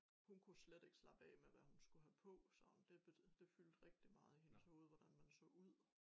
Hun kunne slet ikke slappe af med hvad hun skulle have på sådan det fyldte rigtig meget i hendes hoved hvordan man så ud